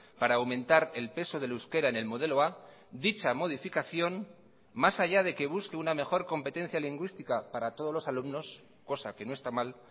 para aumentar el peso del euskera en el modelo a dicha modificación más allá de que busque una mejor competencia lingüística para todos los alumnos cosa que no está mal